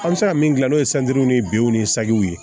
An bɛ se ka min gilan n'o ye ni binw ni sagiw ye